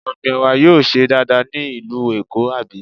Ọ̀gbìn Ẹ̀wà yóò ṣe dáadáa ní ìlú Èkó, àbí?